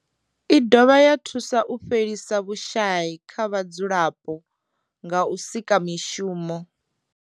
I dovha ya thusa u fhelisa vhushayi kha vhadzulapo nga u sika mishumo.